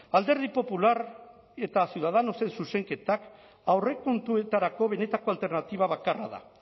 alderdi popular eta ciudadanosen zuzenketak aurrekontuetarako benetako alternatiba bakarra da